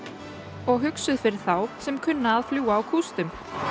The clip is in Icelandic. og hugsuð fyrir þá sem kunna að fljúga á kústum